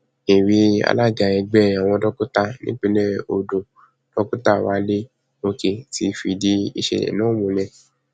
èwe alága ẹgbẹ àwọn dókítà nípìnlẹ ọdọ dókítà wálé òkè ti fìdí ìṣẹlẹ náà múlẹ